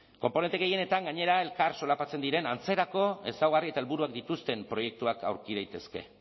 konponente gehienetan gainera elkar solapatzen diren antzerako ezaugarri eta helburuak dituzten proiektuak aurki daitezke